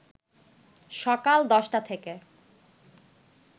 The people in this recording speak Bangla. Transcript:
সকাল ১০টা থেকে